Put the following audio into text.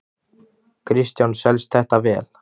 Kristján: Selst þetta vel?